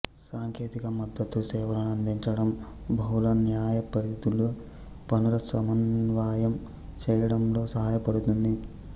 సాంకేతిక మద్దతు సేవలను అందించడం బహుళ న్యాయపరిధుల పనులను సమన్వయం చేయడంలో సహాయపడుతుంది